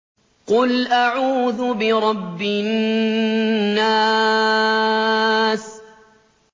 قُلْ أَعُوذُ بِرَبِّ النَّاسِ